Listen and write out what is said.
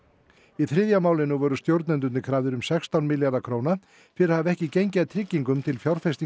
í þriðja málinu voru stjórnendurnir krafðir um sextán milljarða króna fyrir að hafa ekki gengið að tryggingum til